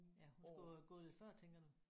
Ja hun skulle have gået lidt før tænker du